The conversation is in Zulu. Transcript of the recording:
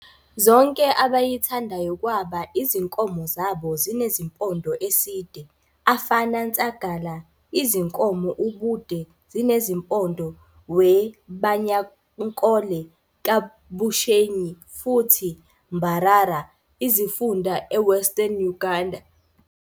Zonke abayithandayo kwaba izinkomo zabo zinezimpondo eside afana Nsagala izinkomo ubude zinezimpondo we Banyankole ka Bushenyi futhi Mbarara Izifunda eWestern Uganda.